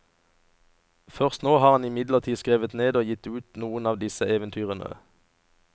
Først nå har han imidlertid skrevet ned og gitt ut noen av disse eventyrene.